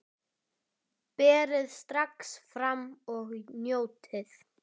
Berið strax fram og njótið!